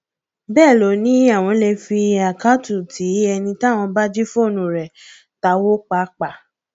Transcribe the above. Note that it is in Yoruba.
bẹẹ ló ní àwọn lè fi àkáàtútì ẹni táwọn bá jí fóònù rẹ táwọ pàápàá